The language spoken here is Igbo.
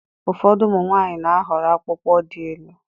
Ụfọdụ ụmụ nwanyị n'ahọrọ akpụkpọ dị élú